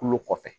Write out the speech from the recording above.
Kulo kɔfɛ